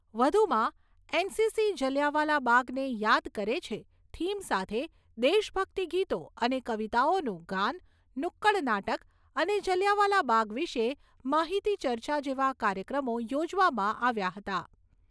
વધુમાં, એનસીસી જલિયાવાલા બાગને યાદ કરે છે થીમ સાથે દેશભક્તિ ગીતો અને કવિતાઓનું ગાન, નુક્કડ નાટક અને જલિયાવાલા બાગ વિશે માહિતી ચર્ચા જેવા કાર્યક્રમો યોજવામાં આવ્યા હતા.